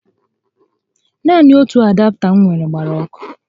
Naanị otu adapta m nwèrè gbara ọkụ